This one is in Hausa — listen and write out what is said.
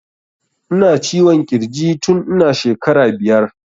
Ina ciwon kirji tun ina shekara biyar